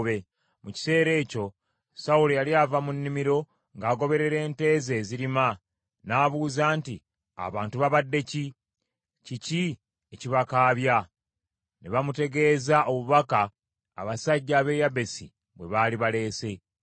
Mu kiseera ekyo Sawulo yali ava mu nnimiro ng’agoberera ente ze ezirima, n’abuuza nti, “Abantu babadde ki? Kiki ekibakaabya?” Ne bamutegeeza obubaka abasajja ab’e Yabesi bwe baali baleese.